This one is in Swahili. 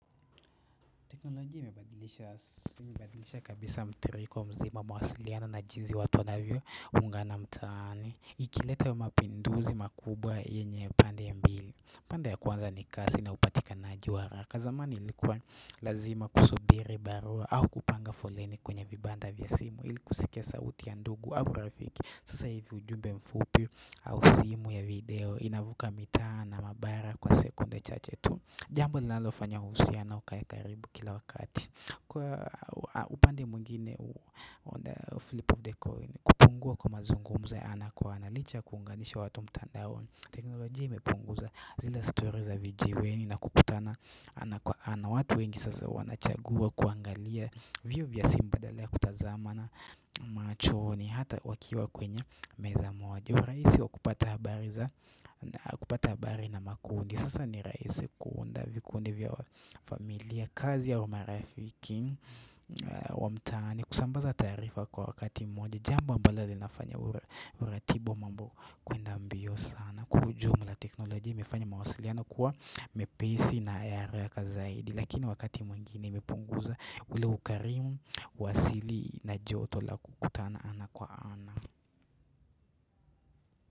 Teknolojia imebadilisha kabisa mtiririko mzima mawasiliano na jinsi watu wanavyo ungana mtaani. Ikileta wa mapinduzi makubwa yenye pande mbili. Pande ya kwanza ni kasi na upatikanaji wa haraka.zamani ilikuwa lazima kusubiri barua au kupanga foleni kwenye vibanda vya simu ilikusikia sauti ya ndugu au rafiki. Sasa hivi ujumbe mfupi au simu ya video inavuka mitaa na mabara kwa sekunde chache tu. Jambo linalofanya uhusiano ukae karibu kila wakati Kwa upande mwingine Flip of the coin kupungua kwa mazungumuzo ya ana kwa ana Licha kuunganisha watu mtandaoni teknolojia imepunguza zile story za vijiweni na kukutana ana watu wengi sasa wanachagua kuangalia vio vya simbadalea kutazamana machoni hata wakiwa kwenye meza moja uRaisi wa kupata habari za kupata habari na makundi Sasa ni raisi kuunda, vikuundi vya familia, kazi au marafiki, wamtaani, kusambaza taarifa kwa wakati mmoja Jambo amablo linafanya uratibo mambo kuenda mbio sana Kwa ujumla teknolojia imefanya mawasiliano kuwa mepesi na ya haraka zaidi Lakini wakati mwingine imepunguza ule ukarimu, wasili na joto la kukutana ana kwa ana.